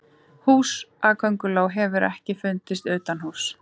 húsakönguló hefur ekki fundist utanhúss